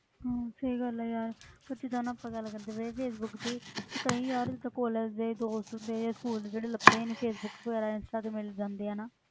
ਹਮ ਸਹੀ ਗੱਲ ਹੈ ਯਾਰ ਪਰ ਜਦੋਂ ਨਾ ਪਤਾ ਲੱਗ ਜਾਵੇ ਫੇਸਬੁੱਕ ਤੇ ਹੀ ਕਿ ਕਈ ਯਾਰ ਜਿੱਦਾਂ college ਦੇ ਦੋਸਤ ਹੁੰਦੇ ਜਾਂ school ਦੇ ਜਿਹੜੇ ਲੱਭਦੇ ਹੀ ਨੀ ਫੇਸਬੁਕਸ ਵਗ਼ੈਰਾ ਇੰਸਟਾ ਤੇ ਮਿਲ ਜਾਂਦੇ ਆ ਨਾ